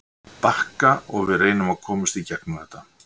Þeir bakka og við reynum að komst í gegnum þetta.